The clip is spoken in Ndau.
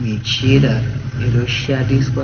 Muchina inoshandiswa